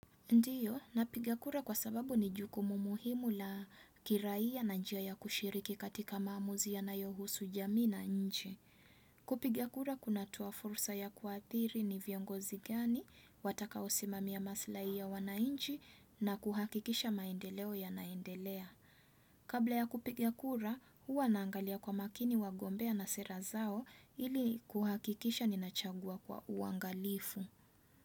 Ndiyo, napiga kura kwa sababu ni jukumu muhimu la kiraiya na njia ya kushiriki katika maamuzi yanayohusu jamii na nchi. Kupiga kura kunatoa fursa ya kuathiri ni viongozi gani, watakaosimamia maslai ya wananchi na kuhakikisha maendeleo ya naendelea. Kabla ya kupiga kura, huwa naangalia kwa makini wagombea na sera zao ili kuhakikisha ninachagua kwa uangalifu.